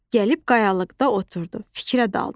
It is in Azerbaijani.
Gəlib qayalıqda oturdu, fikrə daldı.